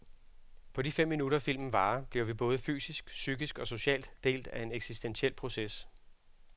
På de fem minutter filmen varer, bliver vi både fysisk, psykisk og socialt del af en eksistentiel proces.